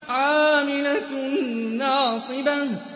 عَامِلَةٌ نَّاصِبَةٌ